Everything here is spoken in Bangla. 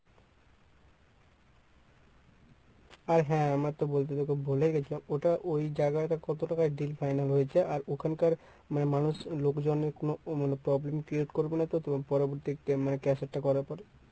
আর হ্যাঁ আমার তো বলতে তোকে ভুলেই গেছিলাম ওটা ঐ জায়গাটা কত টাকায় deal final হয়েছে আর ওখানকার মানে মানুষ লোকজনে কোনো মানে problem create করবে না তো পরবর্তী মানে caser টা করার পরে?